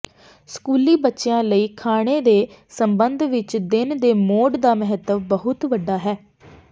ਸਕੂਲੀ ਬੱਚਿਆਂ ਲਈ ਖਾਣੇ ਦੇ ਸਬੰਧ ਵਿੱਚ ਦਿਨ ਦੇ ਮੋਡ ਦਾ ਮਹੱਤਵ ਬਹੁਤ ਵੱਡਾ ਹੈ